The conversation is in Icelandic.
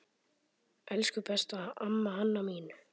Elsku besta amma Hanna mín.